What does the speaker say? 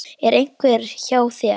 Er einhver hjá þér?